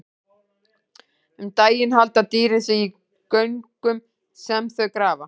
Um daginn halda dýrin sig í göngum sem þau grafa.